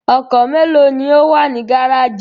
Ọkọ̀ mélòó ni ó wà ní gárájì?